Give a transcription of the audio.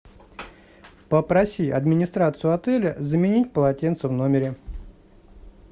попроси администрацию отеля заменить полотенца в номере